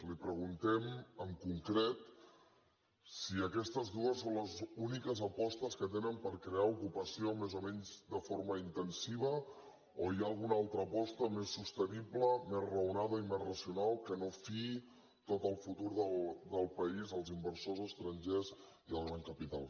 li preguntem en concret si aquestes dues són les úniques apostes que tenen per crear ocupació més o menys de forma intensiva o hi ha alguna altra aposta més sostenible més raonada i més racional que no fiï tot el futur del país als inversors estrangers i al gran capital